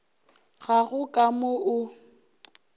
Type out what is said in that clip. ga go ka mo o